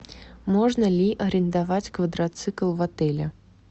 можно ли арендовать квадроцикл в отеле